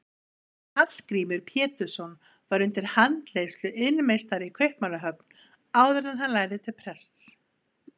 Hallgrímur Pétursson var undir handleiðslu iðnmeistara í Kaupmannahöfn áður en hann lærði til prests.